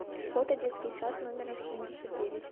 фото детский сад номер семьдесят девять